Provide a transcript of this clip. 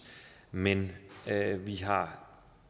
men vi har